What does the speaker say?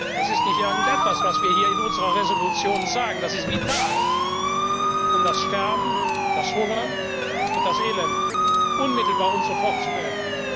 Das ist nicht irgendetwas, was wir hier in unserer Entschließung sagen, das ist vital, um das Sterben, das Hungern und das Elend unmittelbar und sofort zu beenden.